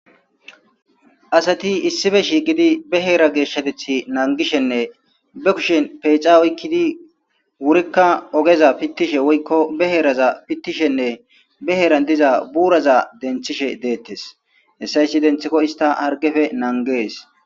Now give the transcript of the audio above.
asati issife shiiqidi be heera geeshshatethi nangishenne be kushen peexa oykkidi wurikka ogeza pittishe woykko be heeraza pittishenne be heeran diza buuraza denthishe deettes hessa issiti denthikko ista hargefe nangees